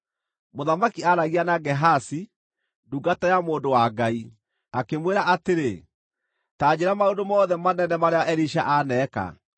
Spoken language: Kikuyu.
Mũthamaki aaragia na Gehazi, ndungata ya mũndũ wa Ngai, akĩmwĩra atĩrĩ, “Ta njĩĩra maũndũ mothe manene marĩa Elisha aaneka.”